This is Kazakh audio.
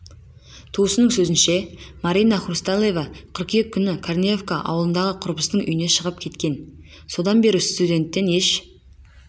туысының сөзінше марина хрусталева қыркүйек күні корнеевка ауылындағы құрбысының үйінен шығып кеткен содан бері студенттен еш